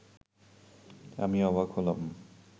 আমি অবাক হলাম